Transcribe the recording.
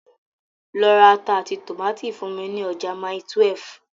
Lọ ra ata àti tòmátì fún mi ní ọjà Mile 12.